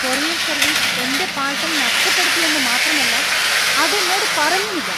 Courier service എന്‍റെ parcel നഷ്ടപ്പെടുത്തിയെന്നു മാത്രമല്ല അത് എന്നോട് പറഞ്ഞുമില്ല.